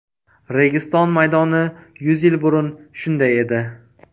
Registon maydoni yuz yil burun shunday edi.